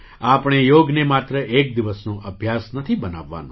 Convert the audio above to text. આપણે યોગને માત્ર એક દિવસનો અભ્યાસ નથી બનાવવાનો